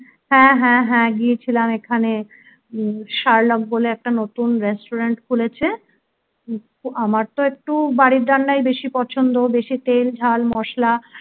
হ্যাঁ হ্যাঁ হ্যাঁ গিয়েছিলাম এখানে শার্লক বলে একটা নতুন restaurant খুলেছে আমার তো একটু বাড়ির রান্নাই বেশি পছন্দ বেশি তেল ঝাল মশলা